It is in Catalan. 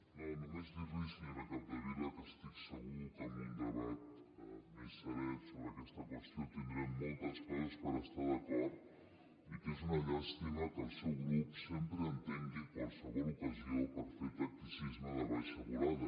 no només dir li senyora capdevila que estic segur que en un debat més serè sobre aquesta qüestió tindrem moltes coses per estar d’acord i que és una llàstima que el seu grup sempre entengui qualsevol ocasió per fer tacticisme de baixa volada